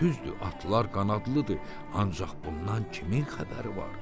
Düzdür, atlar qanadlıdır, ancaq bundan kimin xəbəri var?